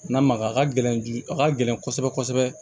N'a maga a ka gɛlɛn du a ka gɛlɛn kosɛbɛ kosɛbɛ